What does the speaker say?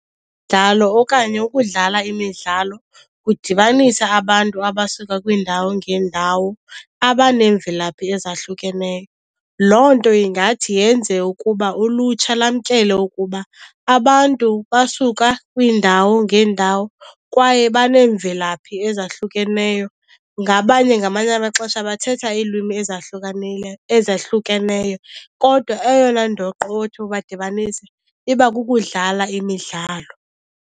okanye ukudlala imidlalo kudibanisa abantu abasuka kwiindawo ngeendawo abaneemvelaphi ezahlukeneyo. Loo nto ingathi yenze ukuba ulutsha lamkele ukuba abantu basuka kwiindawo ngeendawo kwaye baneemvelaphi ezahlukeneyo. Ngabanye ngamanye amaxesha bathetha iilwimi ezahlukeneyo kodwa eyona ndoqo othi ubadibanise iba kukudlala imidlalo.